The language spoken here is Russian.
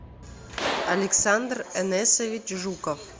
александр энесович жуков